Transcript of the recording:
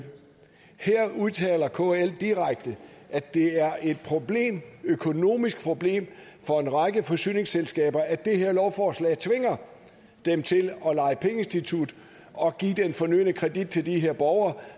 udtaler kl direkte at det er et økonomisk problem for en række forsyningsselskaber at det her lovforslag tvinger dem til at lege pengeinstitut og give den fornødne kredit til de her borgere